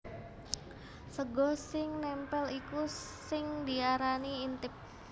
Sega sing nèmpèl iku sing diarani intip